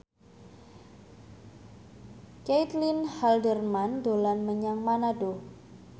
Caitlin Halderman dolan menyang Manado